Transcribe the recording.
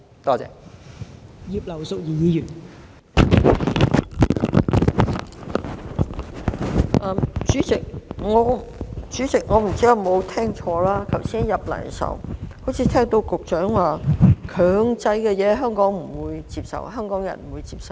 代理主席，我不知道有否聽錯，我剛才進來時好像聽到局長說，強制的事情香港人不會接受。